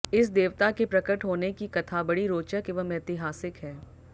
इस देवता के प्रकट होने की कथा बड़ी रोचक एवं ऐतिहासिक है